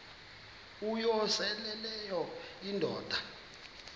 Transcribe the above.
uyosele leyo indoda